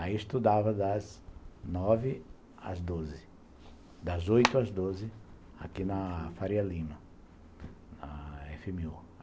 Aí estudava das nove às doze, das oito às doze, aqui na Faria Lima, na efe eme u